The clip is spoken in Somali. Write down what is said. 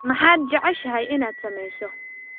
Maxaad jeceshahay inaad sameyso?